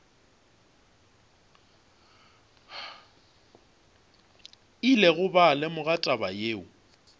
ile ba lemoga taba yeo